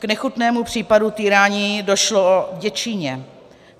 K nechutnému případu týrání došlo v Děčíně.